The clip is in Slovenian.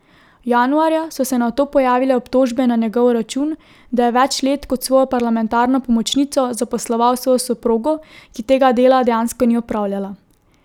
Januarja so se nato pojavile obtožbe na njegov račun, da je več let kot svojo parlamentarno pomočnico zaposloval svojo soprogo, ki tega dela dejansko ni opravljala.